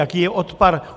Jaký je odpar?